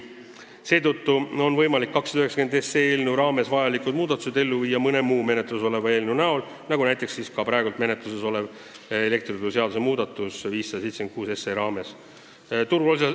Seetõttu oli võimalik eelnõus 290 sisalduvad muudatused teha mõne muu menetluses oleva eelnõu kaudu ja seda tehaksegi praegu menetluses oleva eelnõu 576 abil.